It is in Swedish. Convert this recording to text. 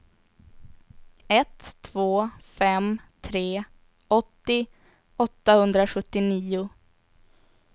ett två fem tre åttio åttahundrasjuttionio